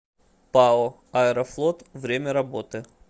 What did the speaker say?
пао аэрофлот время работы